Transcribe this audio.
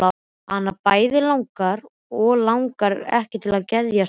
Hana bæði langar og langar ekki til að geðjast mömmu.